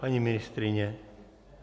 Paní ministryně?